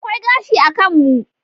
Akwai gashi a kan mu.